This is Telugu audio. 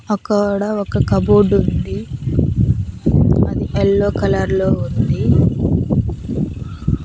అక్కడ ఒక కబోర్డ్ ఉంది అది ఎల్లో కలర్ లో ఉంది.